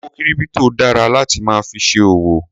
Owó kírípítò dara láti máa fi ṣe òwò.